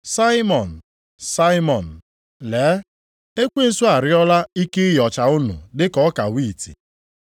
“Saimọn, Saimọn, lee ekwensu arịọla ike ịyọcha unu dị ka ọka wiiti.